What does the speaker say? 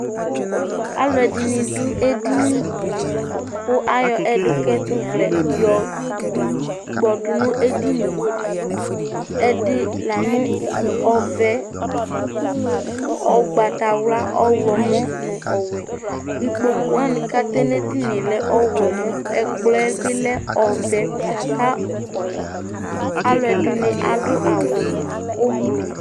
alo ɛdini do edini di kò ayɔ ɛdukɛtovlɛ yɔ kpɔ do no edini yɛ ɛdi la no ɔvɛ ugbata wla ɔwlɔmɔ no ɔwɛ ikpoku wani k'atɛ n'edini yɛ lɛ ɔwlɔmɔ ɛkplɔ yɛ bi lɛ ɔvɛ k'alo ɛdini adu awu ublu